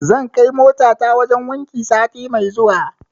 Zan kai motata wajen wanki sati mai zuwa.